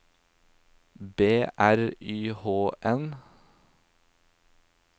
B R Y H N